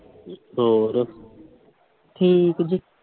ਠੀਕ ਜੀ।